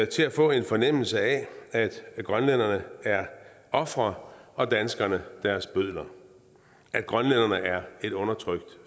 til at få en fornemmelse af at grønlænderne er ofre og danskerne deres bødler at grønlænderne er et undertrykt